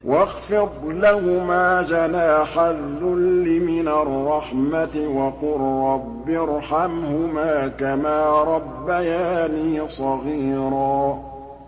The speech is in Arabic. وَاخْفِضْ لَهُمَا جَنَاحَ الذُّلِّ مِنَ الرَّحْمَةِ وَقُل رَّبِّ ارْحَمْهُمَا كَمَا رَبَّيَانِي صَغِيرًا